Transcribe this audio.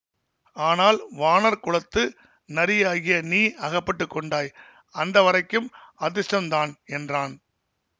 ஆனால் வாணர் குலத்து நரியாகிய நீ அகப்பட்டு கொண்டாய் அந்த வரைக்கும் அதிர்ஷ்டந்தான் என்றான்